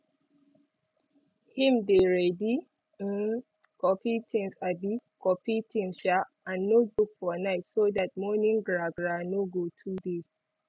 him dey ready um coffee tinz um coffee tinz um and notebook for night so that morning gra gra no go too dey